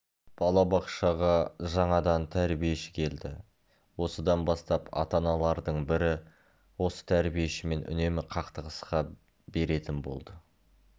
балабақшаға жаңадан тәрбиеші келді осыдан бастап ата-аналардың бірі осы тәрбиешімен үнемі қақтығыса беретін болды